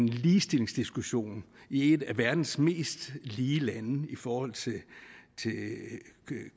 ligestillingsdiskussion i et af verdens mest lige lande i forhold til